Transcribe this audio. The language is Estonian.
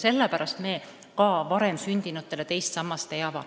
Sellepärast me varem sündinutele teist sammast ei ava.